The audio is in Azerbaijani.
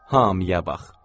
Hamıya bax.